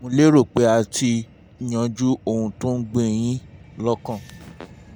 mo lérò pé a ti yanjú ohun tó ń gbé yín lọ́kàn